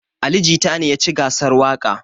Ali jita ne yaci gasar waƙa